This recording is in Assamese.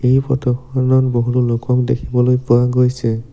এই ফটো খনত বহুতো লোকক দেখিবলৈ পোৱা গৈছে।